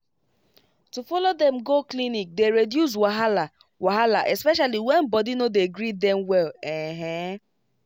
to follow dem go clinic dey reduce wahala wahala especially when body no dey gree dem well ehn